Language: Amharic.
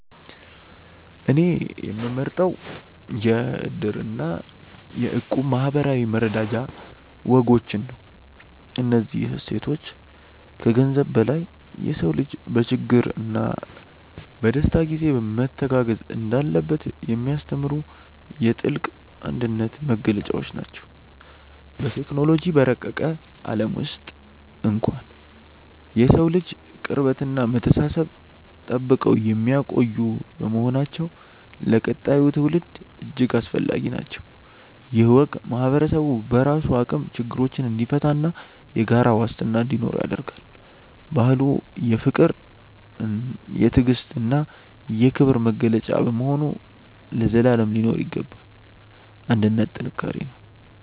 እኔ የምመርጠው የ"እድር" እና የ"እቁብ" የማኅበራዊ መረዳጃ ወጎችን ነው። እነዚህ እሴቶች ከገንዘብ በላይ የሰው ልጅ በችግርና በደስታ ጊዜ መተጋገዝ እንዳለበት የሚያስተምሩ የጥልቅ አንድነት መገለጫዎች ናቸው። በቴክኖሎጂ በረቀቀ ዓለም ውስጥ እንኳን የሰውን ልጅ ቅርበትና መተሳሰብ ጠብቀው የሚቆዩ በመሆናቸው ለቀጣዩ ትውልድ እጅግ አስፈላጊ ናቸው። ይህ ወግ ማኅበረሰቡ በራሱ አቅም ችግሮችን እንዲፈታና የጋራ ዋስትና እንዲኖረው ያደርጋል። ባህሉ የፍቅር፣ የትዕግስትና የክብር መገለጫ በመሆኑ ለዘላለም ሊኖር ይገባል። አንድነት ጥንካሬ ነው።